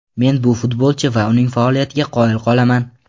Men bu futbolchi va uning faoliyatiga qoyil qolaman.